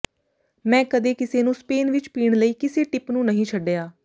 ਮੈਂ ਕਦੇ ਕਿਸੇ ਨੂੰ ਸਪੇਨ ਵਿਚ ਪੀਣ ਲਈ ਕਿਸੇ ਟਿਪ ਨੂੰ ਨਹੀਂ ਛੱਡਿਆ